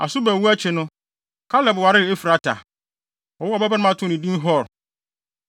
Asuba wu akyi no, Kaleb waree Efrata. Wɔwoo ɔbabarima too no din Hur.